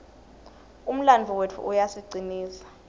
umlandvo wetfu uyasicinisa